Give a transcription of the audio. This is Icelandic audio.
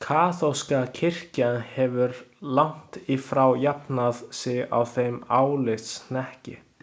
Kaþólska kirkjan hefur langt í frá jafnað sig á þeim álitshnekki.